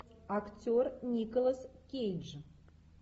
актер николас кейдж